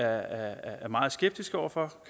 er meget skeptiske over for